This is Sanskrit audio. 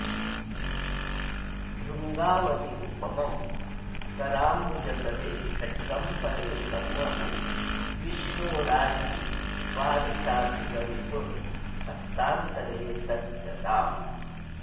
भृङ्गावल्युपमं कराम्बुजतले खड्गं परे संवहन् विष्णू राजति वारिताखिलरिपुर्हस्तान्तरे सद्गदाम्